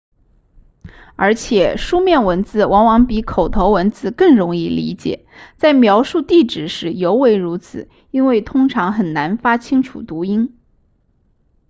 而且书面文字往往比口头文字更容易理解在描述地址时尤为如此因为通常很难发清楚读音